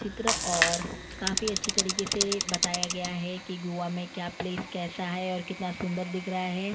चित्र और काफी अच्छी तरीके से बताया गया है कि गोवा में क्या प्लेस कैसा है और कितना सुंदर दिख रहा है।